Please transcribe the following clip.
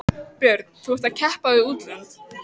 Björn: Þú ert að keppa við útlönd?